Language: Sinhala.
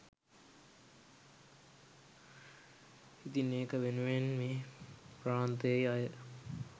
ඉතින් ඒක වෙනුවෙන් මේ ප්‍රාන්තෙ අය